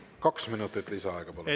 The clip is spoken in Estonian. Kaks minutit lisaaega, palun!